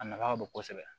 A nafa ka bon kosɛbɛ